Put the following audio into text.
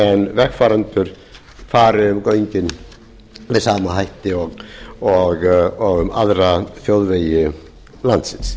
vegfarendur fari um göngin með sama hætti og um aðra þjóðvegi landsins